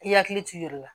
I hakili t'i yɛrɛ la